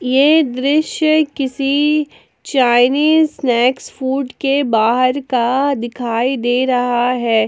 ये दृश्य किसी चाइनीस स्नैक्स फूड के बाहर का दिखाई दे रहा है।